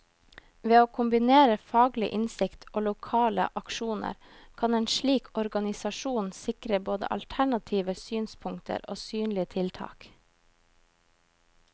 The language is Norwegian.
Ved å kombinere faglig innsikt og lokale aksjoner, kan en slik organisasjon sikre både alternative synspunkter og synlige tiltak.